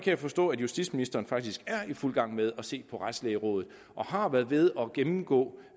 jeg forstå at justitsministeren faktisk er i fuld gang med at se på retslægerådet og har været ved at gennemgå